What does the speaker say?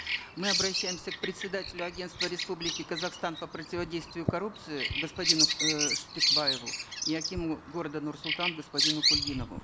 мы обращаемся к председателю агентства республики казахстан по противодействию коррупции господину э шпекбаеву и акиму города нур султан господину кульгинову